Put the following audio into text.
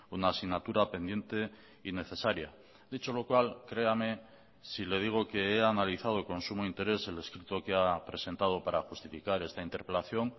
una asignatura pendiente y necesaria dicho lo cual créame si le digo que he analizado con sumo interés el escrito que ha presentado para justificar esta interpelación